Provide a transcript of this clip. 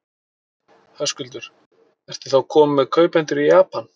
Höskuldur: Ertu þá kominn með kaupendur í Japan?